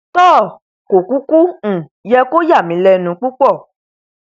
toò kò kúkú um yẹ kó yàmí lẹnu púpọ